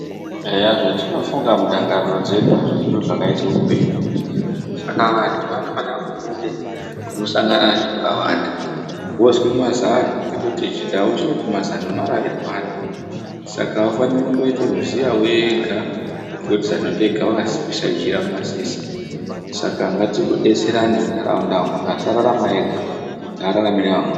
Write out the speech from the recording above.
Eya zvatinofunga mundangariro dzedu azvisizvo zvakaite upenyu saka vantu vanofane kubude kunosangana neantu akawanda wozwe mazano ngekuti chindau chinoti mazano marairwana saka aufani kundoite muziya wega ngokuti zano ndega wakasiye jira mumasese saka ngatidetserane munharaunda umwo muntu ngasararame ega ngararame neamweni.